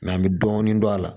an bɛ dɔɔnin don a la